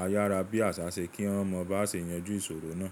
ayára bí àṣá ṣe kí wọ́n mọ bá ṣe yanjú ìṣòro náà.